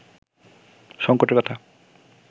সঙ্কটের কথা